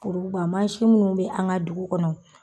Koroduba mansi minnu be an ŋa dugu kɔnɔ